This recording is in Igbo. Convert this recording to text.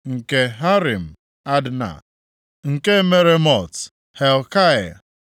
nke Harim, Adna, nke Meremot, Helkai;